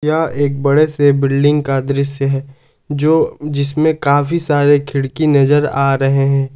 यह एक बड़े से बिल्डिंग का दृश्य है जो जिसमें काफी सारे खिड़की नजर आ रहे हैं।